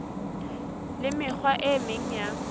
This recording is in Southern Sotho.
le mekgwa e meng ya